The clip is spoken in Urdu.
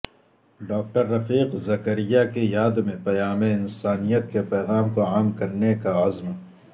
ڈاکٹر رفیق زکریا کی یاد میں پیام انسانیت کے پیغام کو عام کرنے کا عزم